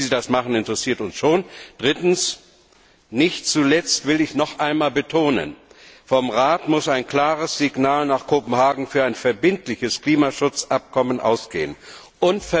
Also wie Sie das machen, interessiert uns schon. Drittens will ich noch einmal betonen, dass vom Rat ein klares Signal nach Kopenhagen für ein verbindliches Klimaschutzabkommen ausgehen muss.